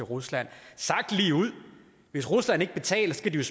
og rusland sagt ligeud hvis rusland ikke betaler skal de